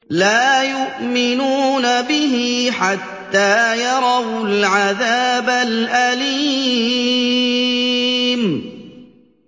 لَا يُؤْمِنُونَ بِهِ حَتَّىٰ يَرَوُا الْعَذَابَ الْأَلِيمَ